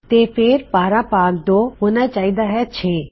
ਤੇ ਫੇਰ 12 ਭਾਗ 2 ਹੋਣਾ ਚਾਹੀਦਾ ਹੈ 6